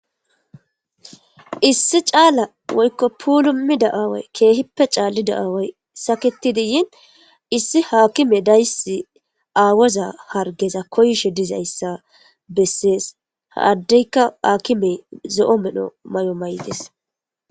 Issi caala woykko pulumi da'aaway keehippe caallida'aaway saketidiyin issi haakime dayssi aawoza hargeza koyishe dizayssa bessees haaddeyka akimey zo'o medho may'o may'des.